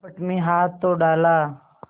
कपट में हाथ तो डाला